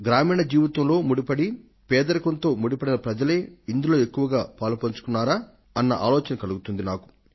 గ్రామీణ జీవితంలో ముడిపడిన పేదరికంతో ముడిపడిన ప్రజలే ఇందులో ఎక్కువగా పాలుపంచుకున్నారా అన్న ఆలోచన కలుగుతోంది నాకు